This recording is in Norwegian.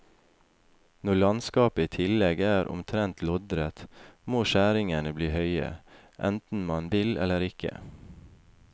Når landskapet i tillegg er omtrent loddrett, må skjæringene bli høye, enten man vil eller ikke.